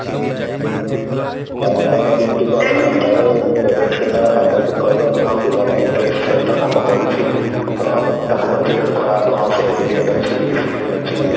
ଆମେ ଆମ duty କରିସାରିଲା ପରେ ତେବେ ସିନା faculty କହିବେ କି ହଁ ପିଲାଟା interests ସହ କାମ କରୁଛି ତ ତାକୁ consider କରା ହବ କି ହଁ ସେ obedient ଅଛି discipline ଅଛି